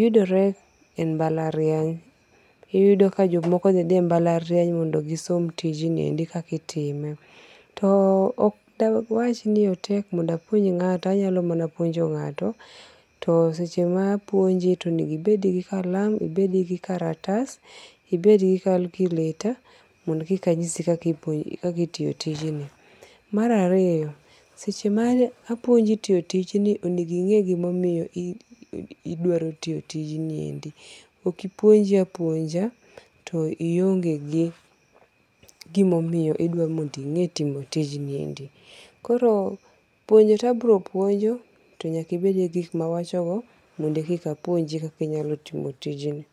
yudore e mbalariany. Iyudo ka jomoko ne dhie e mbalariany mondo gisom tijni endi kaka itime. To ok da wach ni otek mondo apuonj ng'ato. Anyalo mana puonjo ng'ata. To seche ma apuonji onego ibed gi kalam, ibed gi kalatas, ibed gi calculator mondo koka anyisi kaka itiyo tijno. Mar ariyo, seche ma apuonji tiyo tijno onengo inge gimomiyo idwaro tiyo tijniendi. Ok puonji a puonja to ionge gi gimomiyo idwa mond ing'e tijniendi. Koro puonj to abiro puonjo, to nyaka ibedie gi gik ma awacho go mondo keka apuonji kaka inyalo tiyo tijni.